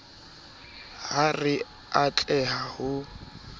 ha re a tleha ho